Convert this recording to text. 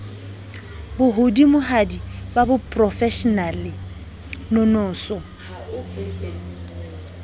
bo hodimohadi ba boprofeshenale nonoso